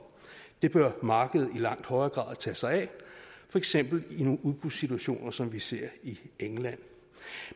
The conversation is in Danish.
det bør markedet i langt højere grad tage sig af for eksempel i nogle udbudssituationer som vi ser i england